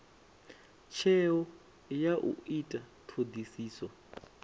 tsheo ya u ita thodisiso